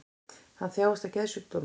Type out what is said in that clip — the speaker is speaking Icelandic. Hann þjáist af geðsjúkdómi